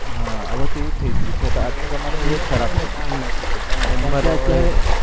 હા આવે તો એવું જ થઇ ગયું છે